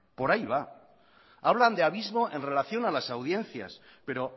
por ahí va hablan de abismo en relación a las audiencias pero